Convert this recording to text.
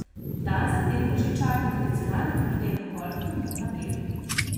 Dan za tem ga že čaka tradicionalni dobrodelni golf turnir na Bledu.